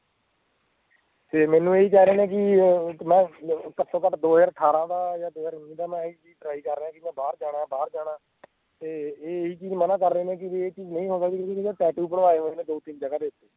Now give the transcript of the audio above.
ਤੇ ਮੈਂਨੂੰ ਓਹੀ ਕਹਿ ਰੇ ਨੇ ਵੀ ਕਿ ਮੈਂ ਘਟੋ ਘਟ ਦੋ ਹਜ਼ਾਰ ਅਠਾਰਹ ਦਾ ਜਾਂ ਦੋ ਹਜ਼ਾਰ ਉੱਨੀ ਦਾ ਮੈਂ ਇਹੀ ਚੀਜ਼ try ਕਰ ਰਿਹਾਂ ਆਂ ਕਿ ਮੈਂ ਬਾਹਰ ਜਾਣਾ ਮੈਂ ਬਾਹਰ ਜਾਣਾ ਤੇ ਇਹੀ ਚੀਜ਼ ਮਨਾ ਕਰ ਰਹੇ ਨੇ ਵੀ ਇਹ ਚੀਜ਼ ਨਹੀਂ ਹੋ ਸਕਦੀ ਕਿਉਂਕਿ ਮੈਂ tattoo ਬਣਾਏ ਹੋਏ ਆ ਮੈਂ ਦੋ ਤਿੰਨ ਜਗਾਹ ਦੇ ਉੱਤੇ